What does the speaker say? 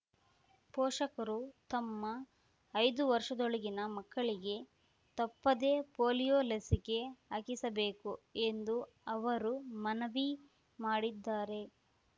ಪೋಷಕರು ತಮ್ಮ ಐದು ವರ್ಷದೊಳಗಿನ ಮಕ್ಕಳಿಗೆ ತಪ್ಪದೆ ಪೋಲಿಯೋ ಲಸಿಕೆ ಹಾಕಿಸಬೇಕು ಎಂದು ಅವರು ಮನವಿ ಮಾಡಿದ್ದಾರೆ